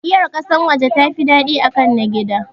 Giyar ƙasan waje tafi daɗi akan na gida